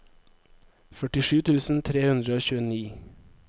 førtisju tusen tre hundre og tjueni